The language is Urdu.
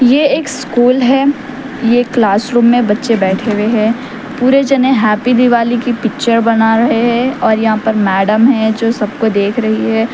یہ ایک اسکول هی کلاس روم می بچے بیٹھے ھوۓ ھ پورے جانے ہاپپے دیوالی پکترے بنا رہے هی یہاں پر مہودیا هی جو سبکو دیکھ رہی هی.